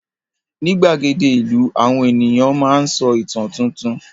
Ní gbàgede ìlú, àwọn ènìyàn máa ń sọ ìtàn tuntun.